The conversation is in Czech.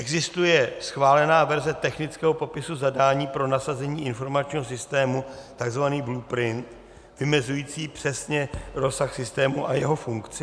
Existuje schválená verze technického popisu zadání pro nasazení informačního systému, tzv. blueprint, vymezující přesně rozsah systému a jeho funkci?